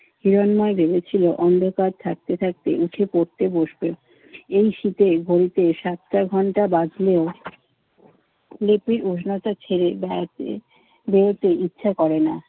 হিরন্ময় ভেবেছিল অন্ধকার থাকতে থাকতে উঠে পড়তে বসবে। এই শীতে ঘড়িতে সাতটার ঘণ্টা বাজলেও লিপির উজনাটা ছেড়ে গায়ত্রীর বেরুতে ইচ্ছে করে না।